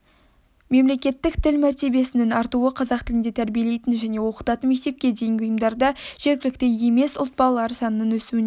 мемлекеттік тіл мәртебесінің артуы қазақ тілінде тәрбиелейтін және оқытатын мектепке дейінгі ұйымдарда жергілікті емес ұлт балалары санының өсуіне